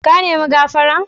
Ka ne mi gafara?